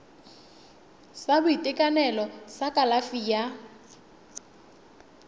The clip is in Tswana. sa boitekanelo sa kalafi ya